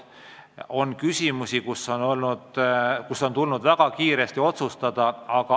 On küsimusi, mis on tulnud väga kiiresti otsustada.